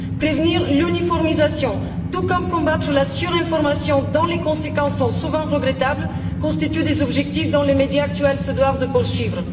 Prévenir l'uniformisation, tout comme combattre la surinformation, dont les conséquences sont souvent regrettables, constituent des objectifs que les médias actuels se doivent de poursuivre.